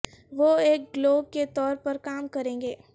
وہ ایک گلو کے طور پر کام کریں گے